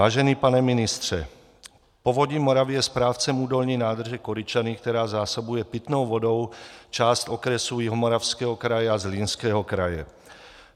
Vážený pane ministře, Povodí Moravy je správcem údolní nádrže Koryčany, která zásobuje pitnou vodou část okresu Jihomoravského kraje a Zlínského kraje.